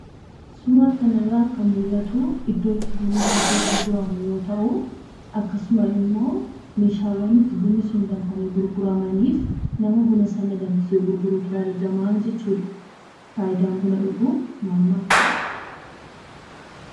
Suuraa kanarraa kan mul'atu iddoo bunni danfee itti gurguramu yoo ta'u, akkasuma immoo meeshaawwan bunni sun itti danfanii gurguramanii fi nama buna danfisee gurgurutu argamaa jechuudha. Fayidaan buna dhuguu maal maal fa'ii?